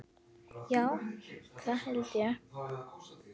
Já, það held ég.